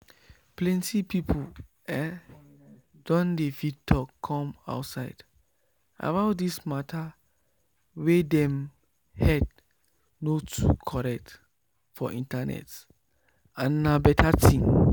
plenty people ehh don dey fit talk come outside about this mata wey dem head no too correct for internet and na better thing